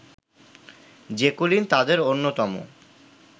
Jacqueline তাঁদের অন্যতম